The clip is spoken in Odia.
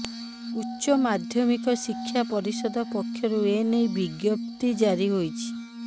ଉଚ୍ଚ ମାଧ୍ୟମିକ ଶିକ୍ଷା ପରିଷଦ ପକ୍ଷରୁ ଏନେଇ ବିଜ୍ଞପ୍ତି ଜାରି ହୋଇଛି